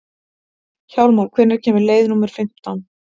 Hjálmar, hvenær kemur leið númer fimmtán?